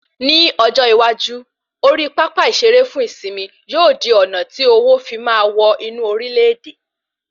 Ni ọjọ iwaju, ori pápá ìsere fún ìsimi yóò di ọ̀nà tí owo fí máa wọ inú orile-ede